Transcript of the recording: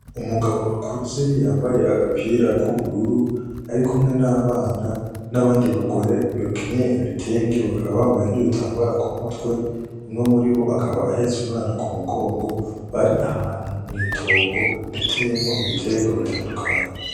Umugabo akuze yambaye agapira ku bururu arikumwe n'abana n'abandi bagore bakenyeye ibitenge bakaba bambaye n'ibitambara ku mutwe umwe mu ribo akaba ahetse umwana ku mugongo ari ahantu mw'itongo riteyemwo ibiterwa bitandukanye.